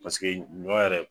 Paseke ɲɔ yɛrɛ